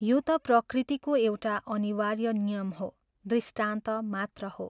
यो त प्रकृतिको एउटा अनिवार्य नियम हो दृष्टान्त मात्र हो।